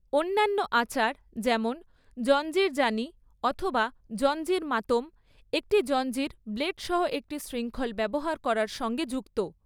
অন্যান্য আচার যেমন জঞ্জির জানি অথবা জঞ্জির মাতম একটি জঞ্জির ব্লেড সহ একটি শৃঙ্খল ব্যবহার করার সঙ্গে যুক্ত।